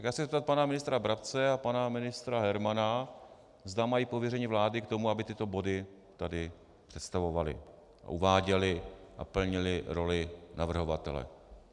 Já se chci zeptat pana ministra Brabce a pana ministra Hermana, zda mají pověření vlády k tomu, aby tyto body tady představovali a uváděli a plnili roli navrhovatele.